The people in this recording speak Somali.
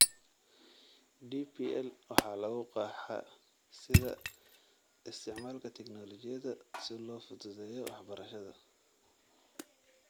DPL waxaa lagu qeexaa sida "isticmaalka tignoolajiyada si loo fududeeyo waxbarashada